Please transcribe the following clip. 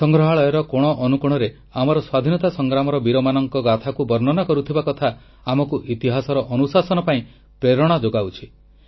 ସଂଗ୍ରହାଳୟର କୋଣଅନୁକୋଣରେ ଆମର ସ୍ୱାଧୀନତା ସଂଗ୍ରାମର ବୀରମାନଙ୍କ ଗାଥାକୁ ବର୍ଣ୍ଣନା କରୁଥିବା କଥା ଆମକୁ ଇତିହାସର ଅନୁଶାସନ ପାଇଁ ପ୍ରେରଣା ଯୋଗାଉଛି